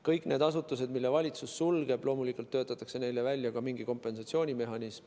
Kõigile neile asutustele, mille valitsus sulgeb, töötatakse loomulikult välja ka mingi kompensatsioonimehhanism.